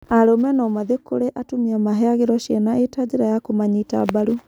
Arũme no mathiĩ kũrĩ atumia maheagĩrwo ciana ĩta njĩra ya kũmanyita mbaru